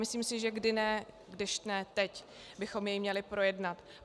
Myslím si, že kdy jindy, když ne teď, bychom jej měli projednat.